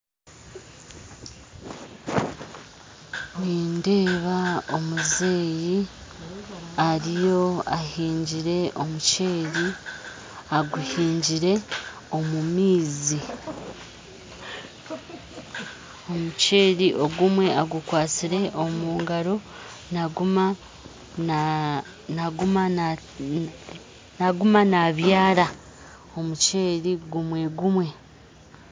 Nindeeba omuzeyi ariyo ahingyire omuceeri aguhingire omu maizi omuceeri ogumwe agukwasire omu ngaro naguma naguma naguma nabyara omuceeri gumwe gumwe